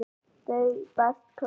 Þau best klæddu